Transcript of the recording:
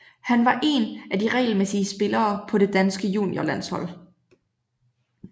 Han var en af de regelmæssige spillere på det danske juniorlandshold